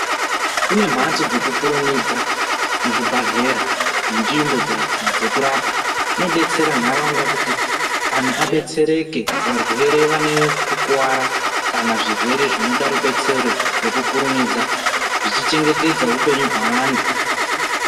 Kune mhatso dzekukurumidza muzvibhehlera nenzvimbo dzekurapa zvinobetsera nharaunda kuti anhu abetsereke varwere vanekukuwara kana zvirwere zvinoda rubetsero ngekukurumidza zvichichengetedza upenyu hweantu